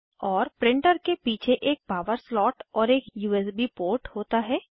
और प्रिंटर के पीछे एक पावर स्लॉट और एक यूएसबी पोर्ट होता है